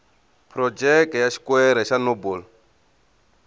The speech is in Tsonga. phurojeke ya xikwere xa nobel